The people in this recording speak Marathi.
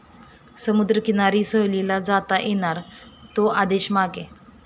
समुद्रकिनारी सहलीला जाता येणार, 'तो' आदेश मागे